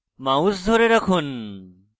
mouse ধরে থাকুন